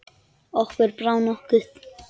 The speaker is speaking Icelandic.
Okkur brá nokkuð.